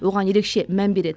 оған ерекше мән береді